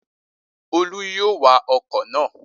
Olú yóò wa ọkọ̀ náà